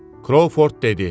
Krovford dedi: